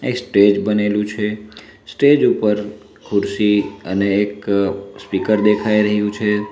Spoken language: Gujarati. એક સ્ટેજ બનેલું છે સ્ટેજ ઉપર ખુરશી અને એક સ્પીકર દેખાઈ રહ્યું છે.